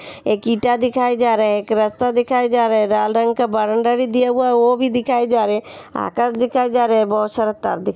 एक ईटा दिखाया जा रहा है। एक रास्ता दिखाया जा रहा है। लाल रंग का बरामदा बी दिया हुआ है वो भी दिखाया जा रहा है आकाश दिखाया जा रहा है बहुत सारा तार दिखा --